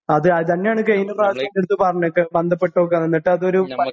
അതേ അതന്നാണ് പറഞ്ഞിക്ക് ബന്ധപ്പെട്ടോക്ക് ന്ന്ട്ടതൊരു പ